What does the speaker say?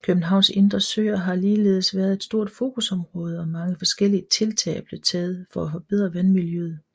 Københavns indre søer har ligeledes været et stort fokusområde og mange forskellige tiltag er blevet taget for at forbedre vandmiljøet